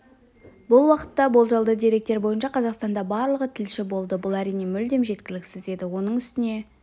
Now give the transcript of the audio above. бұл уақытта болжалды деректер бойынша қазақстанда барлығы тілші болды бұл әрине мүлдем жеткіліксіз еді оның үстіне